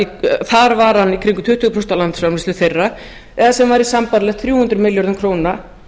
í kringum tuttugu prósent af landsframleiðslu þeirra eða sem væri sambærilegt þrjú hundruð milljörðum króna